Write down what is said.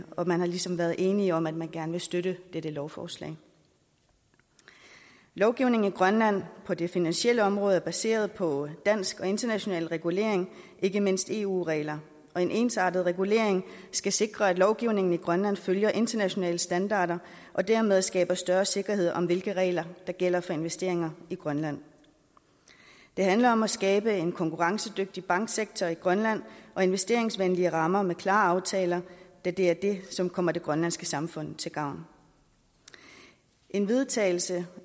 og man er ligesom blevet enige om at man gerne vil støtte dette lovforslag lovgivningen i grønland på det finansielle område er baseret på dansk og international regulering ikke mindst eu regler og en ensartet regulering skal sikre at lovgivningen i grønland følger internationale standarder og dermed skaber større sikkerhed om hvilke regler der gælder for investeringer i grønland det handler om at skabe en konkurrencedygtig banksektor i grønland og investeringsvenlige rammer med klare aftaler da det er det som kommer det grønlandske samfund til gavn en vedtagelse